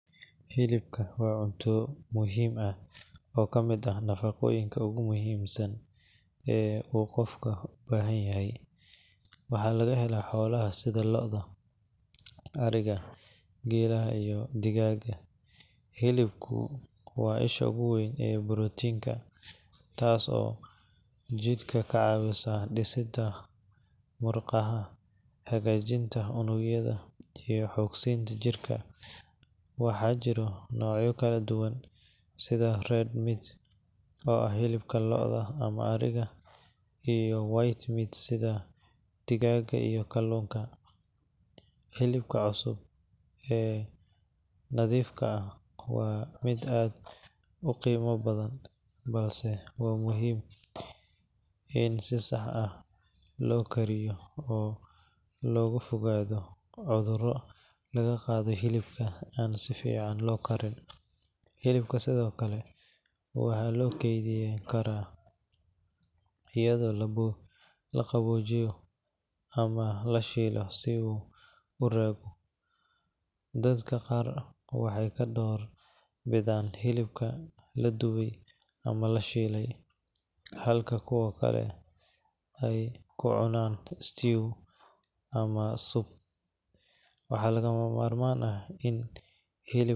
Hilibka waa cunto muhiim ah oo ka mid ah nafaqooyinka ugu muhiimsan ee uu qofku u baahanyahay. Waxaa laga helaa xoolaha sida lo’da, ariga, geelaha, iyo digaagga. Hilibku waa isha ugu weyn ee borotiinka, taas oo jidhka ka caawisa dhisidda murqaha, hagaajinta unugyada, iyo xoog-siinta jirka. Waxaa jira noocyo kala duwan sida red meat oo ah hilibka lo’da ama ariga, iyo white meat sida digaagga iyo kalluunka. Hilibka cusub ee nadiifka ah waa mid aad u qiimo badan, balse waxaa muhiim ah in si sax ah loo kariyo si looga fogaado cudurro laga qaado hilibka aan si fiican loo karin. Hilibka sidoo kale waxaa loo kaydin karaa iyadoo la qaboojiyo ama la shiilo si uu u raago. Dadka qaar waxay ka door bidaan hilibka la dubay ama la shiilay, halka kuwo kale ay ku cunaan stew ama soup. Waxaa lagama maarmaan ah in.